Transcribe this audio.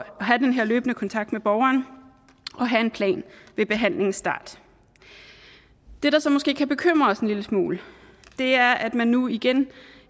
have den her løbende kontakt med borgeren og have en plan ved behandlingen start det der så måske kan bekymre os en lille smule er at man nu igen